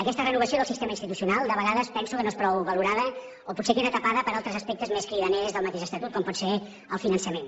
aquesta renovació del sistema institucional de vegades penso que no és prou valorada o potser queda tapada per altres aspectes més cridaners del mateix estatut com pot ser el finançament